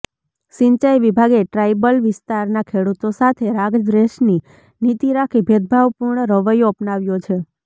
સિંચાઈ વિભાગે ટ્રાયબલ વિસ્તારના ખેડૂતો સાથે રાગદ્વેષની નીતિ રાખી ભેદભાવપૂર્ણ રવૈયો અપનાવ્યો છે